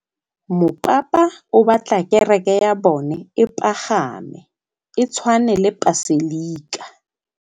Mopapa o batla kereke ya bone e pagame, e tshwane le paselika.